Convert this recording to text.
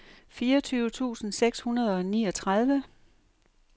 fireogtyve tusind seks hundrede og niogtredive